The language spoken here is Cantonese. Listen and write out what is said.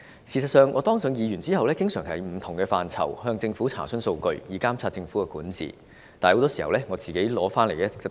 事實上，我當上議員後，經常就不同範疇向政府查詢數據，以監察政府管治，但很多時候我是得不到答案。